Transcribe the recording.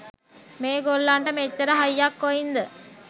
මේ ගොල්ලන්ට මෙච්චර හයියක් කොයින්ද?